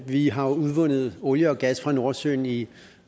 vi har udvundet olie og gas fra nordsøen i